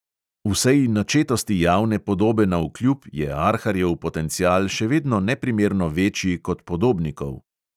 Vsej načetosti javne podobe navkljub je arharjev potencial še vedno neprimerno večji kot podobnikov.